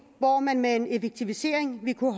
hvor man med en effektivisering vil kunne